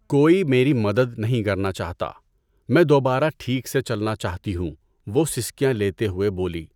کوئی میری مدد نہیں کرنا چاہتا، میں دوبارہ ٹھیک سے چلنا چاہتی ہوں، وہ سسکیاں لیتے ہوئے بولی۔